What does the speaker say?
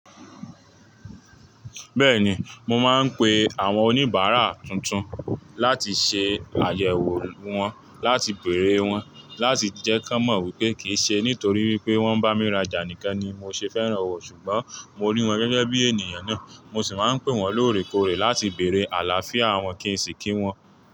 Bẹ́ẹ̀ni, mo máa ń pe àwọn oníbàárà tuntun láti ṣe àyẹ̀wò wọn, láti bèèrè wọ́n, láti jẹ́ kí wọ́n mọ̀ wípé kì í ṣe nítorí wípé wọ́n bá mi rajà nìkan ni mo ṣe fẹ́ràn wọ́n ṣùgbọ́n mo ní wọ́n gẹ́gẹ́ bí ènìyàn náà. Mo sì máa ń pè wọ́n lóòrèkóòrè láti bèèrè àlàáfíà wọn kì í sì kí wọ́n.